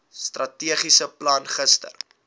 strategiese plan gister